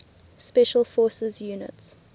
special forces units